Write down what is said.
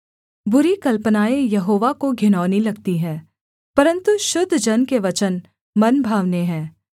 बुरी कल्पनाएँ यहोवा को घिनौनी लगती हैं परन्तु शुद्ध जन के वचन मनभावने हैं